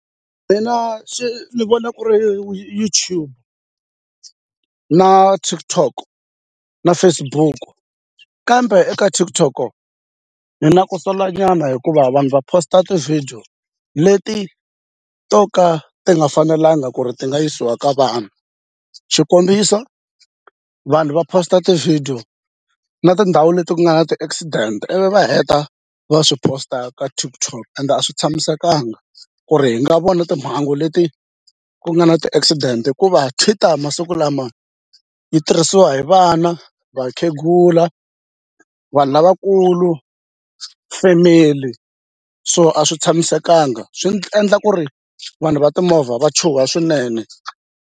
Mina swi ni vona ku ri YouTube na TikTok na Facebook kambe eka TikTok ni na ku sola nyana hikuva vanhu va post-a ti-video leti to ka ti nga fanelanga ku ri ti nga yisiwa ka vanhu xikombiso vanhu va post-a ti-video na tindhawu leti ku nga na ti-accident ivi va heta va swi post-a ka TikTok ende a swi tshamisekanga ku ri hi nga vona timhangu leti ku nga na ti-accident hikuva Twitter masiku lama yi tirhisiwa hi vana vakhegula vanhu lavakulu family so a swi tshamisekanga swi endla ku ri vanhu va timovha va chuha swinene.